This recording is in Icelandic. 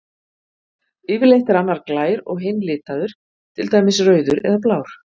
Yfirleitt er annar glær og hinn litaður, til dæmis rauður eða blár.